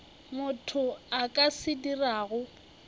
motho a ka se dirago